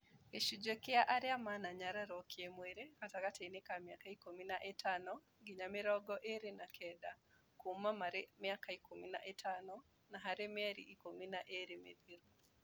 Gĩcunjĩ kĩa arĩa mananyarirũo kĩ mwirĩ gatagatĩ inĩ ka mĩaka ikũmi na ĩtano ngĩnya mĩrongo ĩna na kenda kuuma marĩ mĩaka ikũmi na ĩtano na harĩ mĩeri ikũmi na ĩĩrĩ mĩthiru